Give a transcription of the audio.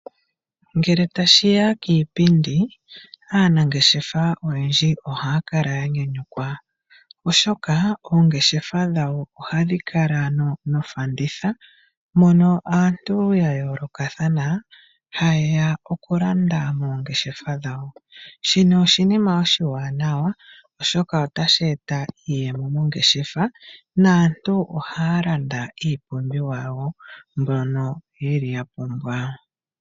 Ngele tashi ya kiipindi aanangeshefa oyendji ohaya kala ya nyanyukwa, oshoka oongeshefa dhawo ohadhi kala nofanditha mono aantu ya yoolokathana haye ya okulanda mongeshefa dhawo, shino oshinima oshiwanawa oshoka otashi eta iiyemo mongeshefa naantu ohaya landa iipumbiwa mbyono ya pumbwa.